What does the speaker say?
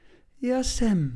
Ja, sem.